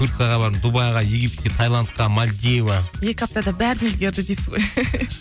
турцияға бардым дубайға египетке тайландқа мальдива екі аптада бәріне үлгерді дейсіз ғой